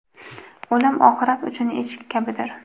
O‘lim oxirat uchun eshik kabidir.